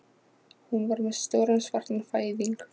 Hún var með stóran svartan fæðing